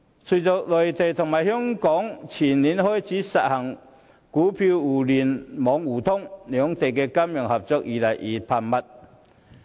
隨着內地與香港前年開始實行股票互聯互通，兩地的金融合作越趨頻繁。